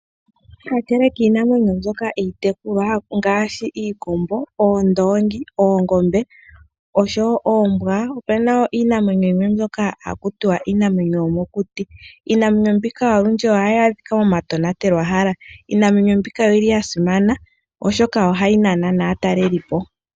Kakele kiinamwenyo mbyoka iitekulwa ngaashi iikombo, oondongi, oongombe nosho woo oombwa opena woo iinamwenyo yimwe mbyoka haku tiwa iinamwenyo yomokuti. Iinamwenyo mbika olundji oyili hayi adhika momatonatelohala. Iinamwenyo mbika oyili yasimana oshoka ohayi nana naatalelipo.